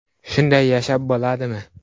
Shunday yashab bo‘ladimi?